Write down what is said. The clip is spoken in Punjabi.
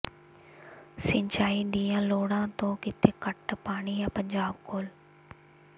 ਸਿੰਚਾਈ ਦੀਆਂ ਲੋੜਾਂ ਤੋਂ ਕਿਤੇ ਘੱਟ ਪਾਣੀ ਹੈ ਪੰਜਾਬ ਕੋਲ